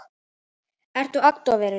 Ertu agndofa yfir þessu?